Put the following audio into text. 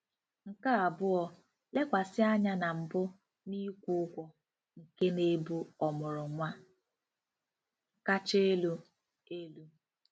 Nke abụọ, lekwasị anya na mbụ n'ịkwụ ụgwọ nke na-ebu ọmụrụ nwa kacha elu. elu.